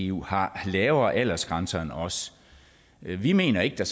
eu har lavere aldersgrænser end os vi mener ikke at